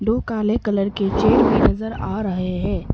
दो काले कलर के चेयर भी नजर आ रहे हैं।